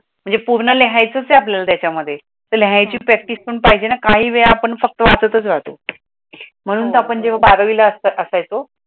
म्हणजे पूर्ण लिहायचं आहे आपल्याला त्याच्यामध्ये, लिहायची प्रॅक्टिस पण पाहिजे ना काही वेळा आपण फक्त वाचतच राहतो, महणून तर आपण जेव्हा बारावीला आसायचो